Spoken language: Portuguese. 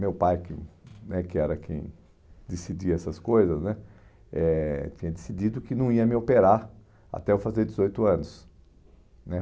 Meu pai, que né que era quem decidia essas coisas né, eh tinha decidido que não ia me operar até eu fazer dezoito anos né